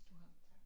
Du har